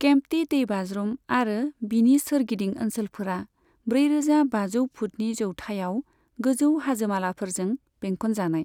केम्प्टी दैबाज्रुम आरो बिनि सोरगिदिं ओनसोलफोरा ब्रैरोजा बाजौ फुटनि जौथायाव गोजौ हाजोमालाफोरजों बेंखनजानाय।